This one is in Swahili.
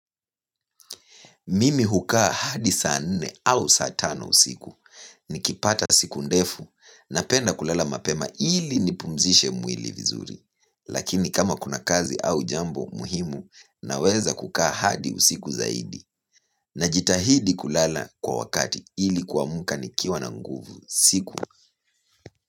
Mimi hukaa hadi saa nne au saa tano usiku, nikipata siku ndefu, napenda kulala mapema ili nipumzishe mwili vizuri. Lakini kama kuna kazi au jambo muhimu, naweza kukaa hadi usiku zaidi. Najitahidi kulala kwa wakati ili kuamka nikiwa na nguvu siku.